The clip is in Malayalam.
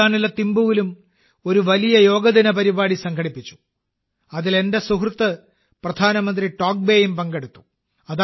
ഭൂട്ടാനിലെ തിമ്പുവിലും ഒരു വലിയ യോഗാ ദിന പരിപാടി സംഘടിപ്പിച്ചു അതിൽ എന്റെ സുഹൃത്ത് പ്രധാനമന്ത്രി ടോബ്ഗേയും പങ്കെടുത്തു